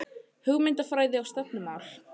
Hugmyndafræði og stefnumál